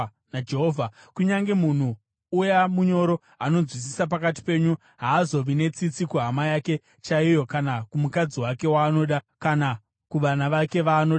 Kunyange munhu uya munyoro anonzwisisa pakati penyu haazovi netsitsi kuhama yake chaiyo kana kumukadzi wake waanoda kana kuvana vake vaanoda vapenyu,